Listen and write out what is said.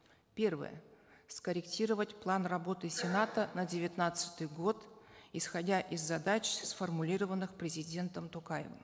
первое скорректировать план работы сената на девятнадцатый год исходя из задач сформулированных президентом токаевым